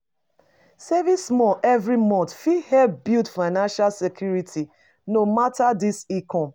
Saving small every month fit help build financial security no matter di income.